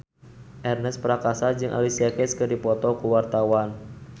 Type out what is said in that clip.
Ernest Prakasa jeung Alicia Keys keur dipoto ku wartawan